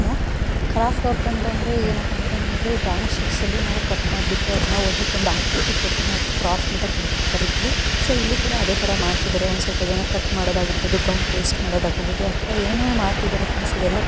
craft work ಅಂತಂದ್ರೆ ಏನಪ್ಪಾ ನಮಗೆ ಡ್ರಾಯಿಂಗ್ ಶೀಟ್ಸ್ ಅಲ್ಲಿ ನಾವು ಕಟ್ ಮಾಡಬಿಟ್ಟು ಅದನ್ನ ಒಂದಕ್ಕೊಂದು ಆಕೃತಿ ಕೊಟ್ಟು ಅದ್ಕ ನಾವ್ ಕ್ರಾಫ್ಟ್ ಅಂತ ಕರೀತೀವಿ ಸೊ ಇಲ್ಲಿ ಕೂಡ ಅದೇ ರೀತಿ ಮಾಡ್ತಾಇದ್ದಾರೆ ಒಂದ್ ಸ್ವಲ್ಪ ಜನ ಕಟ್ ಮಾಡೋದು ಆಗಿರ್ಬಹುದು ಗಮ್ ಪೇಸ್ಟ್ ಮಾಡೋದು ಆಗಿರ್ಬಹುದು ಅಥವಾ ಏನ್ ಏನೋ ಮಾಡ್ತಿದಾರೆ ಫ್ರೆಂಡ್ಸ್ ಇದೆಲ್ಲ ಕ್ರಾಫ್ಟ್ ವರ್ಕ್ ---